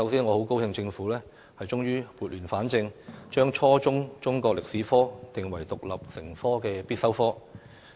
我很高興政府終於撥亂反正，將初中中國歷史科定為獨立成科的必修科。